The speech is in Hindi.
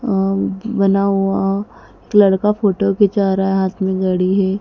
बना हुआ एक लड़का फोटो खिंचा रहा है हाथ में घडी है।